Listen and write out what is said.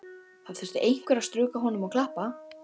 Það þurfti einhver að strjúka honum og klappa.